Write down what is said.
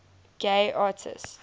gay artists